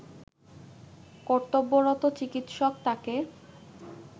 কর্তব্যরত চিকিৎসক তাকে